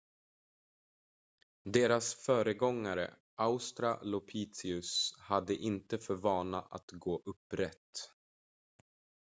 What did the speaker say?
deras föregångare australopithecus hade inte för vana att gå upprätt